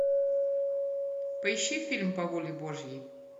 поищи фильм по воле божьей